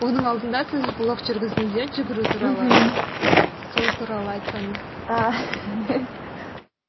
оның алдында сіз блог жүргіздіңіз иә жүгіру туралы мхм сол туралы айтсаңыз